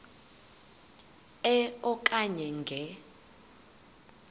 e okanye nge